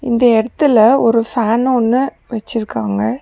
இந்த எடத்துல ஒரு ஃபேன் ஒன்னு வச்சிருக்காங்க.